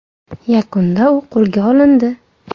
Yakunda u qo‘lga olindi.